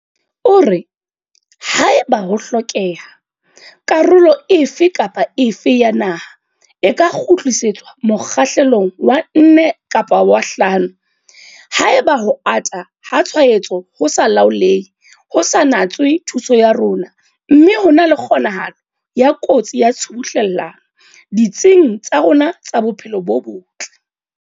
O re, "Haeba ho hlokeha, karolo efe kapa efe ya naha e ka kgutlisetswa mokgahlelong wa 4 kapa wa 5 haeba ho ata ha tshwaetso ho sa laolehe ho sa natswe thuso ya rona mme ho na le kgonahalo ya kotsi ya tshubuhlellano ditsing tsa rona tsa bophelo bo botle."